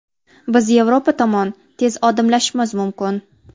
Biz Yevropa tomon tez odimlashimiz mumkin.